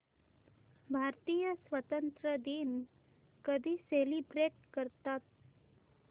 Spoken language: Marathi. भारतीय स्वातंत्र्य दिन कधी सेलिब्रेट करतात